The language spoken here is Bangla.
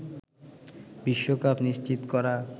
বিশ্বকাপ নিশ্চিত করা